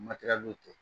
Matɛrɛliw kɛ